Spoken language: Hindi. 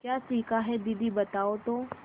क्या सीखा है दीदी बताओ तो